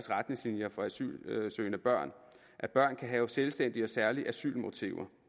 retningslinjer for asylsøgende børn at børn kan have selvstændige og særlige asylmotiver